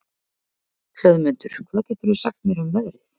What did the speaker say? Hlöðmundur, hvað geturðu sagt mér um veðrið?